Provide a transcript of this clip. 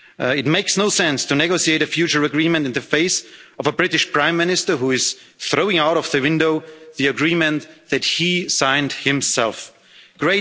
really big. It makes no sense to negotiate a future agreement in the face of a British Prime Minister who is throwing out of the window the agreement that he himself